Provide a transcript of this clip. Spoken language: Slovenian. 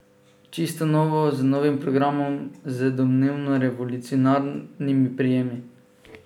Čisto novo, z novim programom, z domnevno revolucionarnimi prijemi.